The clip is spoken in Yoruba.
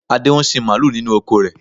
Adé ń sin mààlúù nínú oko rẹ.